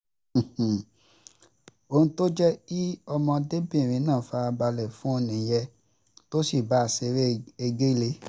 ohun tó jẹ́ kí ọmọdébìnrin náà fara balẹ̀ fún un nìyẹn tó sì bá a ṣeré egéle